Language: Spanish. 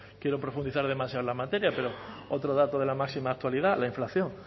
quiero profundizar demasiado en la materia pero otro dato de la máxima actualidad la inflación